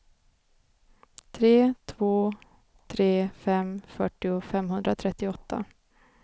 tre två tre fem fyrtio femhundratrettioåtta